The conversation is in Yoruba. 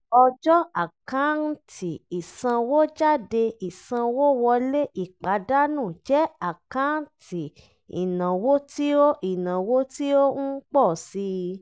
ọjọ́ àkáǹtì ìsanwójádé ìsanwówọlé ìpàdánù jẹ́ àkáǹtì ìnáwó tí ó ìnáwó tí ó ń pọ̀ sí i